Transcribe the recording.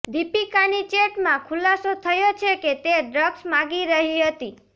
દીપિકાની ચેટમાં ખુલાસો થયો છે કે તે ડ્રગ્સ માંગી રહી હતી